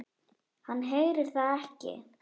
Hann heyrir það ekki.